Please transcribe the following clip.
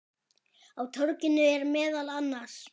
Á torginu eru meðal annars